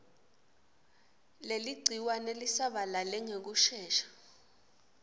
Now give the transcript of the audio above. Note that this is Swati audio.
leligciwane lisabalale ngekushesha